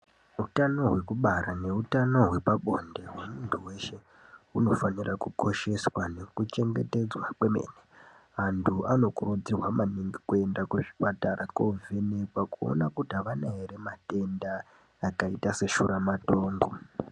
Utano hwekubara nehutano hwepabonde hwemuntu weshe hunofanira kukosheswa nekuchengetedzwa kwemene, antu anokurudzirwa maningi kuenda kuzvipatara koovhenekwa kuona kuti havana ere matenda akaita seshuramatongo.